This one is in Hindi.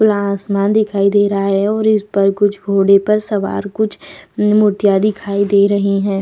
खुला आसमान दिखाई दे रहा है और इस पर कुछ घोड़े पर सवार कुछ मुर्तियाँ दिखाई दे रही हैं ।